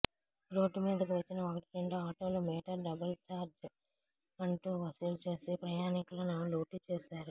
road మీదకు వచ్చిన ఒకటి రెండు ఆటోలు మీటర్ డబుల్ చార్జ్ అంటూవసూలు చేసి ప్రయాణికులను లూటీ చేశారు